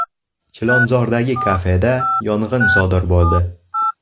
Chilonzordagi kafeda yong‘in sodir bo‘ldi.